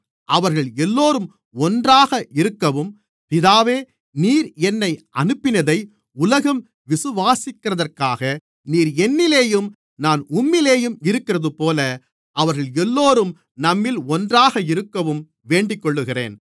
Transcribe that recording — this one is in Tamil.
அவர்கள் எல்லோரும் ஒன்றாக இருக்கவும் பிதாவே நீர் என்னை அனுப்பினதை உலகம் விசுவாசிக்கிறதற்காக நீர் என்னிலேயும் நான் உம்மிலேயும் இருக்கிறதுபோல அவர்கள் எல்லோரும் நம்மில் ஒன்றாக இருக்கவும் வேண்டிக்கொள்ளுகிறேன்